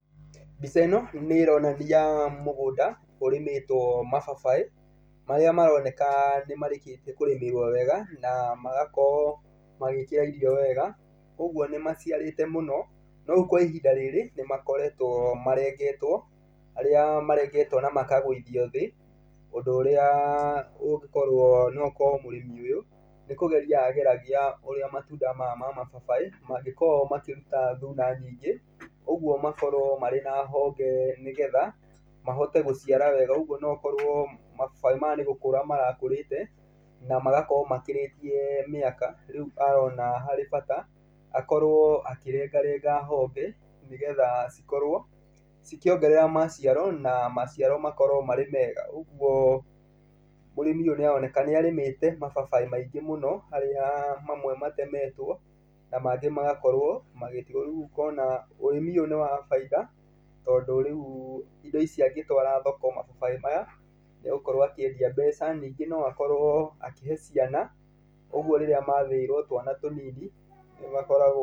Mbica ĩno nĩ ĩronania mũgũnda ũrĩmĩtwo mababaĩ, marĩa maroneka nĩ marĩkĩtie kũrĩmĩrwo wega na magakorwo magĩkĩra irio wega. Ũguo nĩ maciarĩte mũno, no rĩu kwa ihinda rĩrĩ nĩ makoretwo marengetwo. Nĩ marengetwo na makagũithio thĩ, ũndũ ũrĩa ũngĩkorwo no gũkorwo mũrĩmi ũyũ nĩ kũgeria ageragia ũrĩa matunda maya ma mababaĩ mangĩkorwo makĩruta thuna nyingĩ. Ũguo makorwo marĩ na honge ,nĩgetha mahote gũciara wega. Ũguo no gũkorwo mababaĩ maya nĩ gũkũra marakũrĩte na magakorwo makĩrĩtie mĩaka, rĩu arona harĩ bata akorwo akĩrengarenga honge, nĩgetha cikorwo cikĩongerera maciaro, na maciaro makorwo marĩ mega. Ũguo mũrĩmi ũyũ nĩ aroneka nĩ arĩmĩte mababaĩ maingĩ mũno harĩa mamwe matemetwo na mangĩ magakorwo magĩtigwo. Rĩu ũkona ũrĩmi ũyũ nĩ wa bainda tondũ rĩu indo ici angĩtwara thoko mababaĩ maya, nĩ egũkorwo akĩendia mbeca. Ningĩ no akorwo akĩhe ciana, ũguo rĩrĩa mathĩĩrwo twana tũnini, nĩ makoragwo...